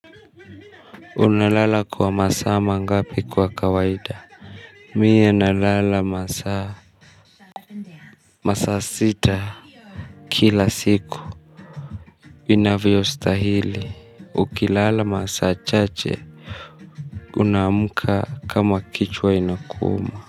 Unalala kwa masaa mangapi kwa kawaida? Mimi nalala masaa, masaa sita kila siku. Inavyostahili. Ukilala masaa chache. Unaamka kama kichwa inakuuma.